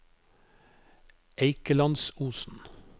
Eikelandsosen